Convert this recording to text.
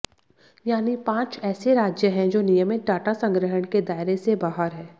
यानी पांच ऐसे राज्य हैं जो नियमित डाटा संग्रहण के दायरे से बाहर हैं